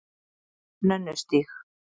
Nönnustíg